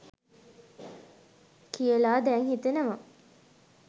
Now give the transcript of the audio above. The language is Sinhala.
කියලා දැන් හිතෙනවා.